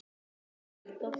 Ég hef ekki sagt það!